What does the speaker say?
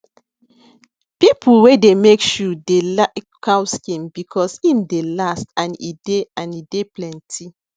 people wey de make shoe dey like cow skin because em dey last and e dey and e dey plenty